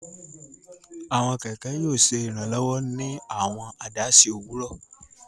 Àwọn kẹkẹ yóò ṣe Iranlọwọ ní awọn adaṣe owurọ